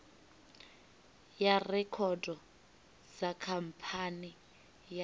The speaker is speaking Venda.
ya rekhodo kha khamphani ya